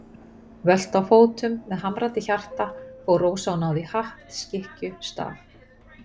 Völt á fótum, með hamrandi hjarta, fór Rósa og náði í hatt, skikkju, staf.